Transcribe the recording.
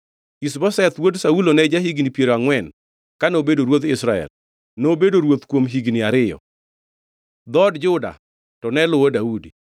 Ish-Boseth wuod Saulo ne ja-higni piero angʼwen kano bedo ruodh Israel, nobedo ruoth kuom higni ariyo. Dhood Juda, to ne luwo Daudi.